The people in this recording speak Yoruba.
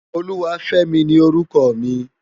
Oluwafemi ni órùkò mi